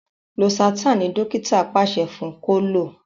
Losartan ní dókítà paṣẹ fún kò lọ.